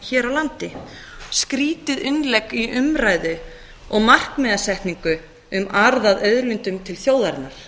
hér á landi skrýtið innlegg í umræðu og markmiðasetningu um arð af auðlindum til þjóðarinnar